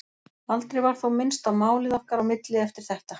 Aldrei var þó minnst á málið okkar á milli eftir þetta.